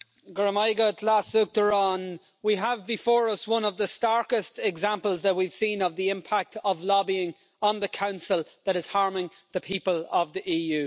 Mr President, we have before us one of the starkest examples that we've seen of the impact of lobbying on the Council that is harming the people of the EU.